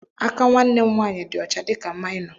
Aka nwanne m nwaanyị dị ọcha dịka maịnọ.